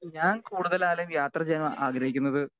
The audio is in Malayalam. സ്പീക്കർ 2 ഞാൻ കൂടുതലായാലും യാത്ര ചെയ്യാൻ ആഗ്രഹിക്കുന്നത്